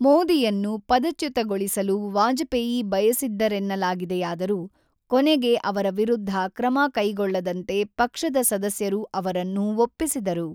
ಮೋದಿಯನ್ನು ಪದಚ್ಯುತಗೊಳಿಸಲು ವಾಜಪೇಯಿ ಬಯಸಿದ್ದರೆನ್ನಲಾಗಿದೆಯಾದರೂ ಕೊನೆಗೆ ಅವರ ವಿರುದ್ಧ ಕ್ರಮ ಕೈಗೊಳ್ಳದಂತೆ ಪಕ್ಷದ ಸದಸ್ಯರು ಅವರನ್ನು ಒಪ್ಪಿಸಿದರು.